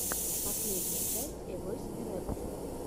последняя часть эвойс эребус